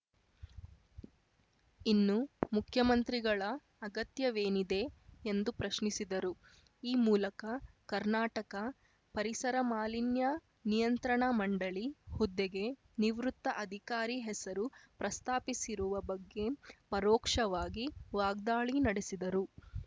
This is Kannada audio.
ಇನ್ನು ಮುಖ್ಯಮಂತ್ರಿಗಳ ಅಗತ್ಯವೇನಿದೆ ಎಂದು ಪ್ರಶ್ನಿಸಿದರು ಈ ಮೂಲಕ ಕರ್ನಾಟಕ ಪರಿಸರ ಮಾಲಿನ್ಯ ನಿಯಂತ್ರಣ ಮಂಡಳಿ ಹುದ್ದೆಗೆ ನಿವೃತ್ತ ಅಧಿಕಾರಿ ಹೆಸರು ಪ್ರಸ್ತಾಪಿಸಿರುವ ಬಗ್ಗೆ ಪರೋಕ್ಷವಾಗಿ ವಾಗ್ದಾಳಿ ನಡೆಸಿದರು